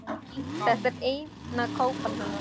Þetta er eina kápan hennar.